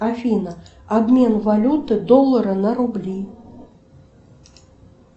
афина обмен валюты доллара на рубли